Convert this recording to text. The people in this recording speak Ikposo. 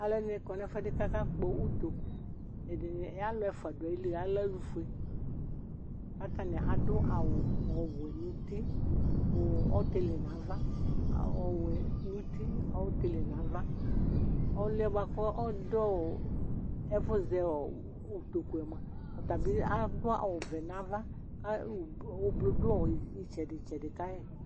Aluɛdini kɔ nu ɛfuɛdi ku akakpɔ utoku ɛdini ya alu ɛfua du ayili alɛ alufue atani adu awu ɔwɛ nu uti ɔtili nava ɔwɛ nu uti ɔtili nava ɔliɛ buaku ɔdu ɛfu zɛutoku atabi adu awu vɛ nava ublu du itsɛdi tsɛdi ka yi